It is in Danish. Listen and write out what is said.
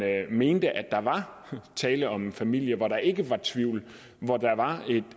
mente at der var tale om en familie hvor der ikke var tvivl og hvor der var